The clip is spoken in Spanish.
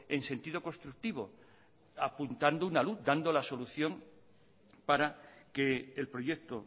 en sentido constructivo apuntando una luz dando la solución para que el proyecto